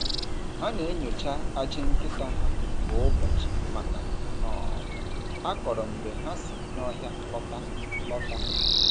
Ha na-enyocha ajị nkịta ha kwa ụbọchị maka um akọrọ mgbe ha si n’ọhịa lọta. lọta.